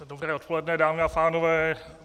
Dobré odpoledne, dámy a pánové.